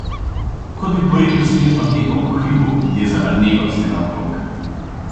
Kot bi porinil snežno kepo po hribu, je zabrnelo vse naokrog.